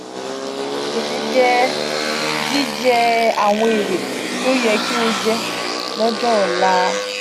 gbese jẹ jijẹ awọn ere ti o yẹ ki o jẹ lọ́jọ́ ọ̀la.